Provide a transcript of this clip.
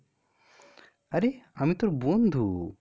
আরে আমি তোর বন্ধু.